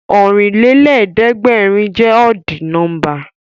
Ọ̀rìnlélẹ̀ẹ̀dẹ́gbèrin jẹ́ ọ́dì nọ́mbà